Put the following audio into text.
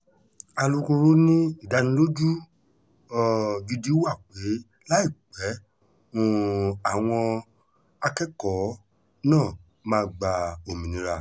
alūkkóró ni ìdánilójú um gidi wà pé láìpẹ́ um làwọn akẹ́kọ̀ọ́ náà máa gba òmìnira